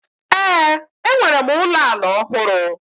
Ee, enwere m ụlọ ala ọhụrụ